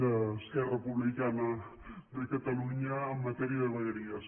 d’esquerra republicana de catalunya en matèria de vegueries